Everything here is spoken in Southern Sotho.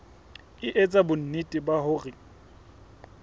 e etsa bonnete ba hore